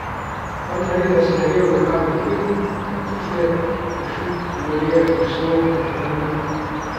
Pa naj gre za serijo lokalnih vin, tartufe, pršut, olje, meso boškarina ...